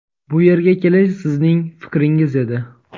Bu yerga kelish sizning fikringiz edi.